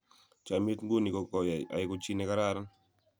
chamiyet ng'un ko koai aengu ji ne karakan